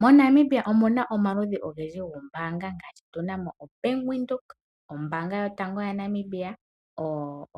Mo Namibia omuna omaludhi ongendji gombanga ngashi tunamo Back Windhoek, ombanga yotango ya Namibia